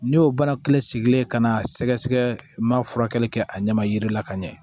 Ne y'o bana kelen sigilen ka na sɛgɛsɛgɛ n m'a furakɛli kɛ a ɲɛ ma jiri la ka ɲɛ